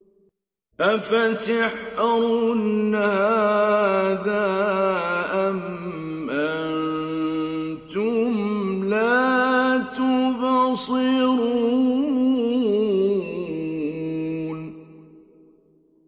أَفَسِحْرٌ هَٰذَا أَمْ أَنتُمْ لَا تُبْصِرُونَ